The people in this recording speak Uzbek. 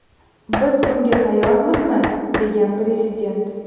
Biz bunga tayyormizmi?”, degan Prezident.